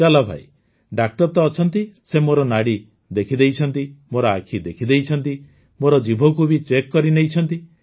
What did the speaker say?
ଚାଲ ଭାଇ ଡାକ୍ତର ତ ଅଛନ୍ତି ସେ ମୋର ନାଡ଼ି ଦେଖିଦେଇଛନ୍ତି ମୋର ଆଖି ଦେଖିଦେଇଛନ୍ତି ମୋର ଜିଭକୁ ବି ଚେକ୍ କରିନେଇଛନ୍ତି